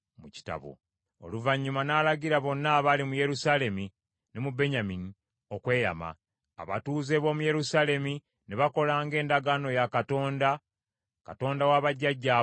Oluvannyuma n’alagira bonna abaali mu Yerusaalemi ne mu Benyamini okweyama. Abatuuze b’omu Yerusaalemi ne bakola ng’endagaano ya Katonda, Katonda wa bajjajjaabwe bw’egamba.